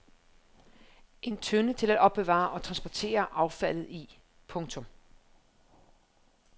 En tønde til at opbevare og transportere affaldet i. punktum